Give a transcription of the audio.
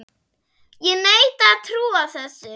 Ég neita að trúa þessu.